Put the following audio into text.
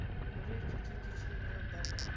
goloi dzoṱhe dzi tshimbilaho badani